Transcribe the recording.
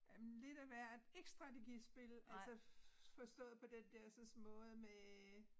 Øh lidt af hvert ikke strategispil altså forstået på den dersens måde med